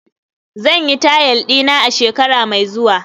zan yi tile dina a shekara mai zuwa